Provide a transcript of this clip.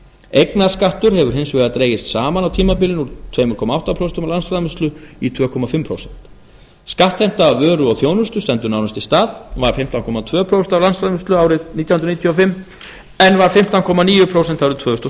eignaskattur hefur hins vegar dregist saman á tímabilinu úr tveimur komma átta prósent af landsframleiðslu í tvö og hálft prósent skattheimta af vöru og þjónustu stendur nánast í stað var fimmtán komma tvö prósent af landsframleiðslu árið nítján hundruð níutíu og fimm en var fimmtán komma níu prósent árið tvö þúsund og